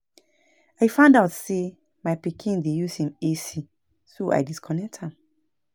I find out say out say my pikin dey use im AC so I disconnect am